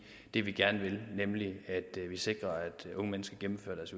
det vi gerne vil nemlig at vi sikrer at unge mennesker gennemfører deres